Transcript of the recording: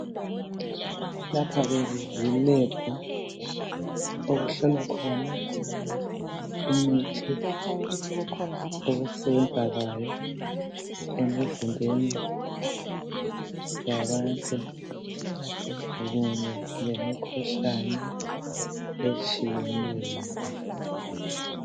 Lapha ke yi lab okuhlolwa khona imithi ukusebenza kwayo emizimbeni yabantu kumbe lemikhuhlane etshiyeneyo.